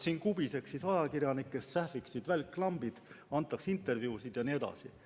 Siis kubiseks siin ajakirjanikest, sähviksid välklambid, antaks intervjuusid jne.